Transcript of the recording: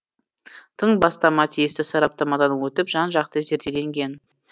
тың бастама тиісті сараптамадан өтіп жан жақты зерделенген